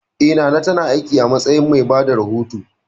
Eh, Nana ta na aiki a matsayin mai bada rahoto